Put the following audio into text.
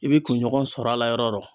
I bi kunɲɔgɔn sɔrɔ a la yɔrɔ yɔrɔ